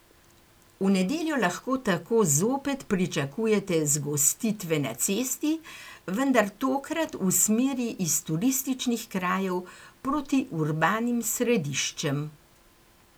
V nedeljo lahko tako zopet pričakujete zgostitve na cesti, vendar tokrat v smeri iz turističnih krajev proti urbanim središčem.